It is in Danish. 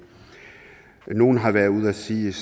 her nogle har været ude at sige